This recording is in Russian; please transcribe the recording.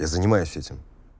я занимаюсь этим